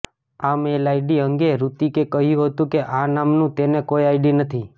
આ mail ID અંગે ઋતિકે કહ્યું હતુ કે આ નામનું તેનુ કોઇ આઇડી નથી